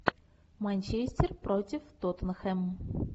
манчестер против тоттенхэм